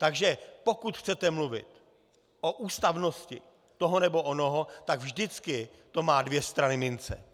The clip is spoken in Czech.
Takže pokud chcete mluvit o ústavnosti toho nebo onoho, tak vždycky to má dvě strany mince.